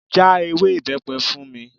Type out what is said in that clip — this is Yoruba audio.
Já ewé ibepe fún mi.